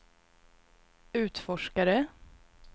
utforskare